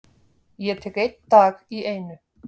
Ég tek einn dag í einu.